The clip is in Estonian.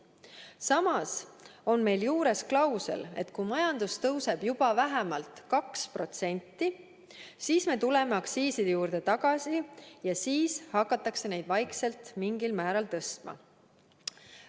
Samas on meil juures klausel, et kui majandus tõuseb juba vähemalt 2%, siis me tuleme aktsiiside juurde tagasi ja siis hakatakse neid vaikselt mingil määral tõstma.